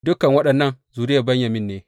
Dukan waɗannan zuriyar Benyamin ne.